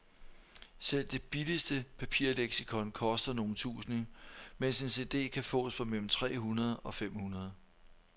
Selv det billigste papirleksikon koster nogle tusinde, mens en cd kan fås for mellem tre hundrede og fem hundrede.